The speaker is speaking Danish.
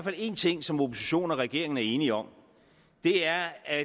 er én ting som oppositionen og regeringen er enige om og det er at